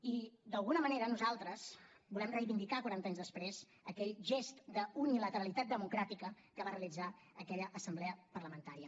i d’alguna manera nosaltres volem reivindicar quaranta anys després aquell gest d’unilateralitat democràtica que va realitzar aquella assemblea parlamentària